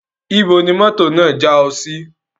Ibo ni mọ́tò náà já ẹ sí?